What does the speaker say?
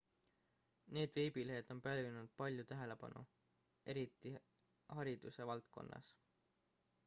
need veebilehed on pälvinud palju tähelepanu eriti hariduse valdkonnas